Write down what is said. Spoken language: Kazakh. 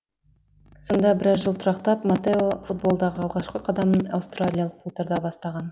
сонда біраз жыл тұрақтап матео футболдағы алғашқы қадамын аустриялық клубтарда бастаған